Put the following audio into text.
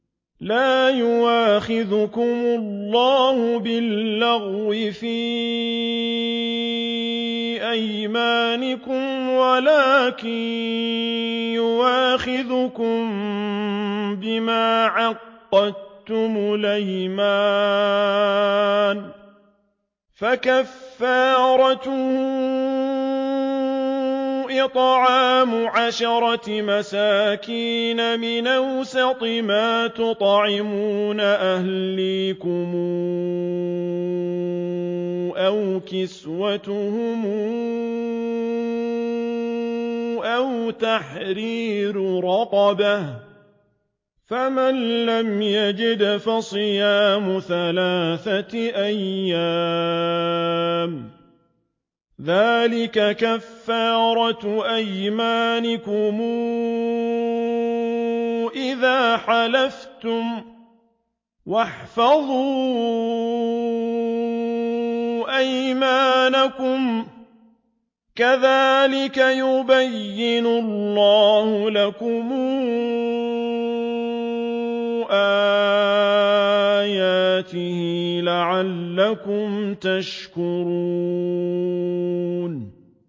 لَا يُؤَاخِذُكُمُ اللَّهُ بِاللَّغْوِ فِي أَيْمَانِكُمْ وَلَٰكِن يُؤَاخِذُكُم بِمَا عَقَّدتُّمُ الْأَيْمَانَ ۖ فَكَفَّارَتُهُ إِطْعَامُ عَشَرَةِ مَسَاكِينَ مِنْ أَوْسَطِ مَا تُطْعِمُونَ أَهْلِيكُمْ أَوْ كِسْوَتُهُمْ أَوْ تَحْرِيرُ رَقَبَةٍ ۖ فَمَن لَّمْ يَجِدْ فَصِيَامُ ثَلَاثَةِ أَيَّامٍ ۚ ذَٰلِكَ كَفَّارَةُ أَيْمَانِكُمْ إِذَا حَلَفْتُمْ ۚ وَاحْفَظُوا أَيْمَانَكُمْ ۚ كَذَٰلِكَ يُبَيِّنُ اللَّهُ لَكُمْ آيَاتِهِ لَعَلَّكُمْ تَشْكُرُونَ